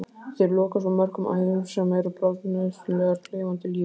Þeir loka svo mörgum æðum sem eru bráðnauðsynlegar lifandi lífi.